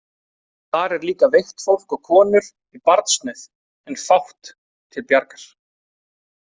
Þar er líka veikt fólk og konur í barnsnauð en fátt til bjargar.